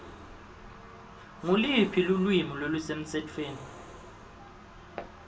nguluphi lulwimi lolusemtsetfweni